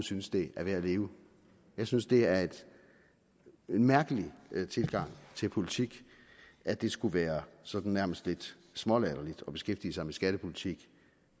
synes det er værd at leve jeg synes det er en mærkelig tilgang til politik at det skulle være sådan nærmest lidt smålatterligt at beskæftige sig med skattepolitik